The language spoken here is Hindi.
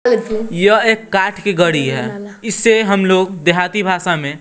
यह एक कांच की घड़ी है इसे हम लोग देहाती भाषा में--